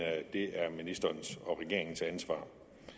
det er ministerens og regeringens ansvar